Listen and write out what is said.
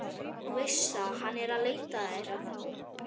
þú veist það, hann er að leita að þér þá?